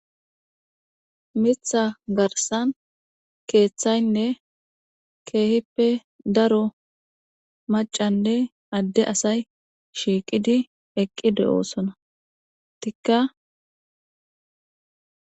Mitha garsan kethayne kehippe dalga maccanne ae ade asay eqi de'osona